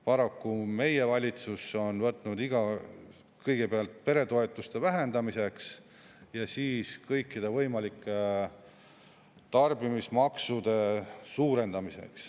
Paraku meie valitsus on võtnud kõigepealt peretoetuste vähendamise ja siis kõikide võimalike tarbimismaksude suurendamise.